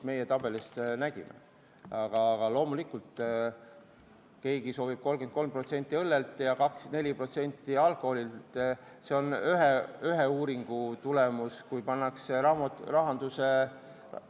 Aga loomulikult, kui keegi soovib aktsiisi langetada 33% õllel ja 24% kangemal alkoholil, siis ühe uuringu tulemus oli, et suurt vahet mõjus ei ole.